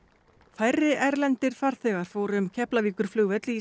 færri erlendir farþegar fóru um Keflavíkurflugvöll í